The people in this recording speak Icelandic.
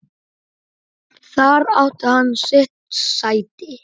Þar átti hann sitt sæti.